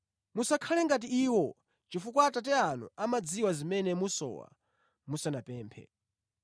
Musakhale ngati iwo chifukwa Atate anu amadziwa zimene musowa musanapemphe.